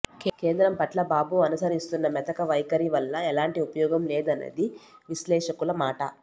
కేంద్రం పట్ల బాబు అనుసరిస్తున్న మెతక వైఖరి వల్ల ఎలాంటి ఉపయోగం లేదనేది విశ్లేషకుల మాట